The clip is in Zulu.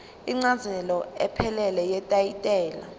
incazelo ephelele yetayitela